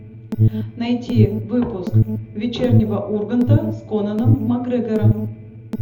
найти выпуск вечернего урганта с конором макгрегором